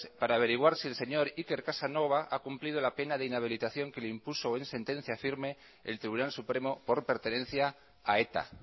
para averiguar si el señor iker casanova ha cumplido la pena de inhabilitación que le impuso en sentencia firme el tribunal supremo por pertenencia a eta